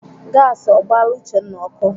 Gasi ọ gbaala Uchenna ọkụ?